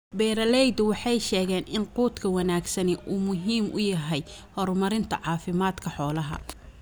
Beeralaydu waxay sheegeen in quudka wanaagsani uu muhiim u yahay horumarinta caafimaadka xoolaha.